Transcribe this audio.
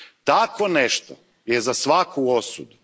Takvo nešto je za svaku osudu.